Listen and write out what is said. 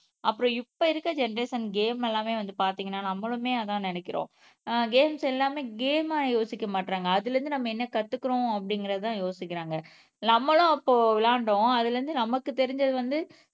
அப்புறம் இப்ப இருக்க ஜெனெரேஷன் கேம் எல்லாமே வந்து பார்த்தீங்கன்னா நம்மளுமே அதான் நினைக்கிறோம் அஹ் கேம்ஸ் எல்லாமே கேம் ஆஹ் யோசிக்க மாட்றாங்க அதுல இருந்து நம்ம என்ன கத்துக்கறோம் அப்படிங்கறதுதான் யோசிக்கிறாங்க நம்மளும் அப்போ விளையாண்டோம் அதுல இருந்து நமக்கு தெரிஞ்சது வந்து